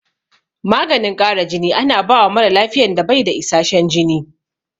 Maganin ƙara jini ana bawa mara lafiyan da bai da isashen jini